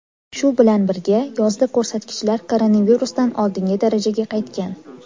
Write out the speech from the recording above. Shu bilan birga, yozda ko‘rsatkichlar koronavirusdan oldingi darajaga qaytgan.